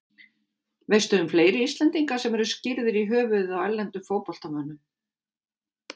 Veistu um fleiri Íslendinga sem eru skírðir í höfuðið á erlendum fótboltamönnum?